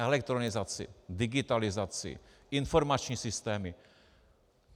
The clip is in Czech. Elektronizaci, digitalizaci, informační systémy.